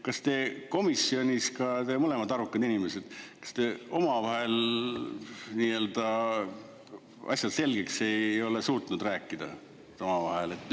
Kas te komisjonis ka, te mõlemad arukad inimesed, kas te omavahel asjad selgeks ei ole suutnud rääkida – omavahel?